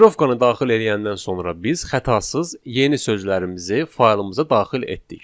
Kodirovkannı daxil eləyəndən sonra biz xətasız yeni sözlərimizi faylımıza daxil etdik.